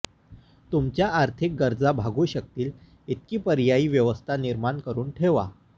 तुमच्या आर्थिक गरजा भागू शकतील इतकी पर्यायी व्यवस्था निर्माण करून ठेवा